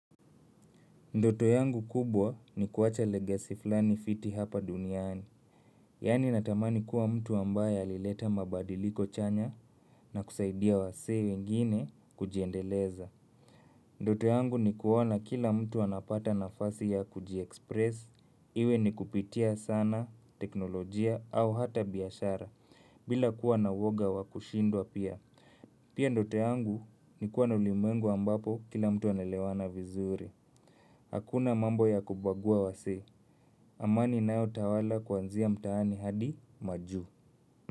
Ndoto yangu kubwa ni kuacha legacy fulani fiti hapa duniani. Yani natamani kuwa mtu ambaye alileta mabadiliko chanya na kusaidia wasee wengine kujendeleza. Ndoto yangu ni kuona kila mtu anapata nafasi ya kuji express, iwe ni kupitia sanaa, teknolojia au hata biashara, bila kuwa na uoga wakushindwa pia. Pia ndoto yangu ni kuwa na ulimwengu ambapo kila mtu anaelewana vizuri. Hakuna mambo ya kubagua wasee. Amani inayo tawala kuanzia mtaani hadi majuu.